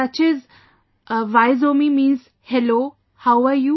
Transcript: Such as 'Vaizomi' means 'Hello,' how are you